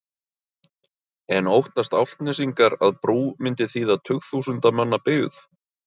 En óttast Álftnesingar að brú myndi þýða tugþúsunda manna byggð?